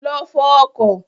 Lọ fọ ọkọ̀.